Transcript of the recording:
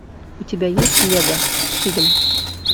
у тебя есть лего фильм